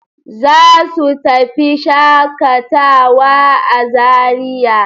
Za su tafi shaƙatawa a Zariya.